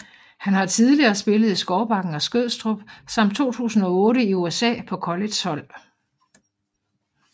Han har tidligere spillet i Skovbakken og Skødstrup samt 2008 i USA på collegehold